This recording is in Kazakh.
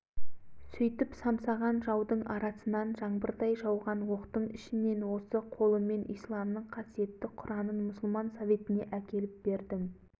айт-үйтке қарамай барып неше бөгеттерден өтіп барып османның жүрегінің қанымен жазған қара құранын құшақтап алып шықтым